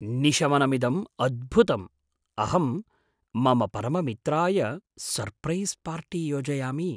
निशमनमिदं अद्भुतम्, अहं मम परममित्राय सर्प्रैस् पार्टी योजयामि।